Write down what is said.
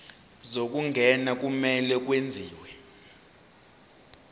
zokungena kumele kwenziwe